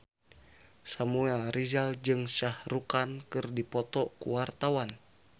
Samuel Rizal jeung Shah Rukh Khan keur dipoto ku wartawan